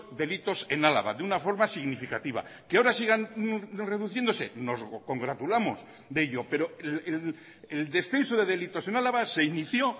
delitos en álava de una forma significativa que ahora sigan reduciéndose nos congratulamos de ello pero el descenso de delitos en álava se inició